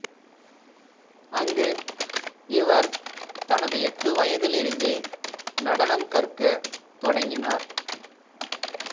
அங்கு இவர் தனது எட்டு வயதிலிருந்தே நடனம் கற்கத் தொடங்கினார்